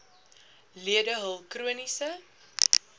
lede hul chroniese